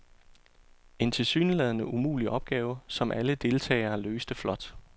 En tilsyneladende umulig opgave, som alle deltagere løste flot.